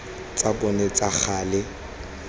tsa bona tsa ka gale